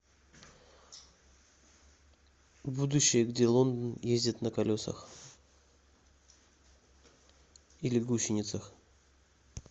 будущее где лондон ездит на колесах или гусеницах